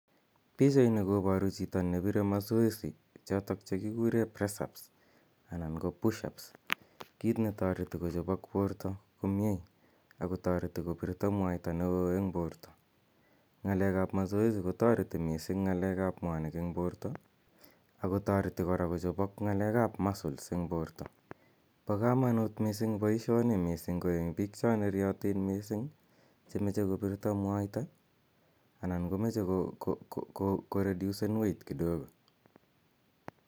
Pichaini koparu chito ne pire masoesi chotok che kikure press ups anan ko push ups, kit ne tareti kochopak porto komye ako tareti kopirta mwaita ne oo eng' porta. Nga'alekap masoesi kotareti missing' ng'alek ap mwanik eng' porta ako tareti kochopak ng'alek ap muscles eng' porta. Pa kamanut missing' poishoni, missing' ko eng' pik cha neriatin che mache kopirta mwaita anan ko mache koredusen weight kidogo.